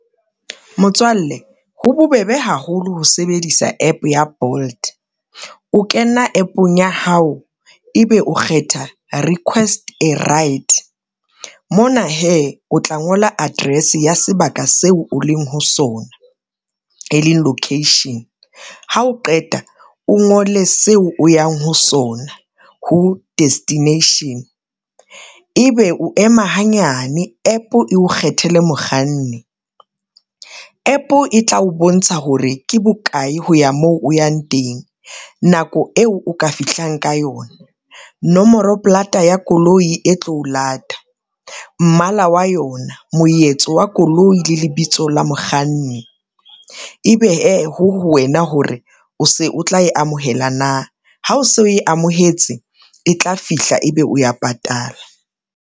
Motswalle ho bobebe haholo ho sebedisa app ya Bolt. O kena app-ong ya hao ebe o kgetha request a ride, mona hee o tla ngola Address ya sebaka seo o leng ho sona e leng location, ha o qeta o ngole seo o yang ho sona ho destination, e be o ema hanyane app eo kgethele mokganni, app e tla o bontsha hore ke bokae ho ya moo o yang teng nako eo o ka fihlang ka yona, nomoro plaata ya koloi e tlo o lata, mmala wa yona, moetso wa koloi le lebitso la mokganni. E be hee ho ho wena hore o se o tla e amohela na, ha o se o e amohetse e tla fihla, ebe o ya patala.